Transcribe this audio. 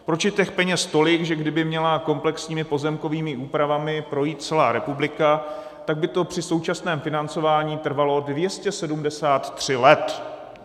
Proč je těch peněz tolik, že kdyby měla komplexními pozemkovými úpravami projít celá republika, tak by to při současném financování trvalo 273 let?